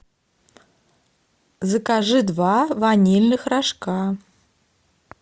закажи два ванильных рожка